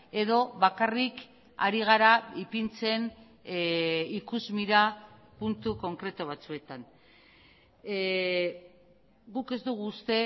edo bakarrik ari gara ipintzen ikusmira puntu konkretu batzuetan guk ez dugu uste